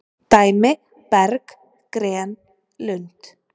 Dæmi:- berg,- gren,- lund.